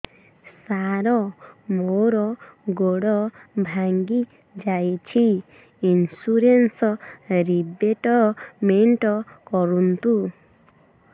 ସାର ମୋର ଗୋଡ ଭାଙ୍ଗି ଯାଇଛି ଇନ୍ସୁରେନ୍ସ ରିବେଟମେଣ୍ଟ କରୁନ୍ତୁ